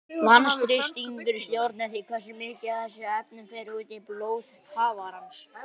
Vatnsþrýstingur stjórnar því hversu mikið af þessum efnum fer út í blóð kafarans.